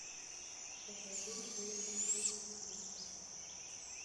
покажи серия четыре уилфред